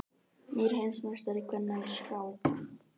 Nýr heimsmeistari kvenna í skák